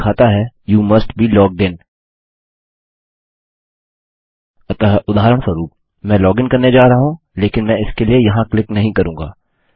यह दिखाता है you must be logged in अतः उदाहरणस्वरूप मैं लॉगिन करने जा रहा हूँ लेकिन मैं इसके लिए यहाँ क्लिक नहीं करूँगा